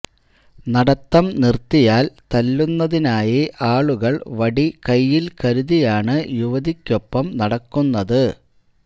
നടത്തം നിർത്തിയാൽ തല്ലുന്നതിനായി ആളുകൾ വടി കയ്യിൽ കരുതിയാണ് യുവതിക്കൊപ്പം നടക്കുന്നത്